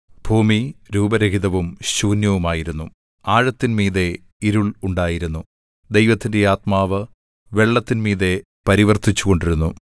ഭൂമി രൂപരഹിതവും ശൂന്യവുമായിരുന്നു ആഴത്തിന്മീതെ ഇരുൾ ഉണ്ടായിരുന്നു ദൈവത്തിന്റെ ആത്മാവ് വെള്ളത്തിൻ മീതെ പരിവർത്തിച്ചുകൊണ്ടിരുന്നു